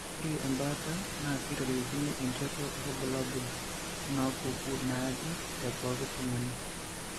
Ore embaata naa keitoriokini enchoto oorbulabul onaapuku naaje tepooki tung'ani.